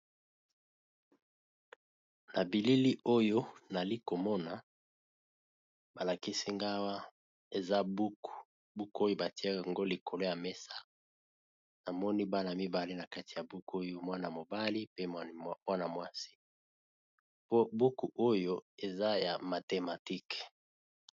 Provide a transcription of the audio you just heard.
Na bilili oyo nazomona balakisi ngai eza buku eza likolo ya mesa namoni Bana mibale nakati ya buku oyo eza ya mathématique.